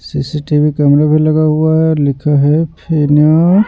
C C T V camera भी लगा हुआ है और लिखा है --